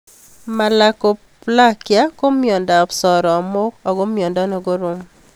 Malakoplakia ko miondop soromok ako miondo ne korom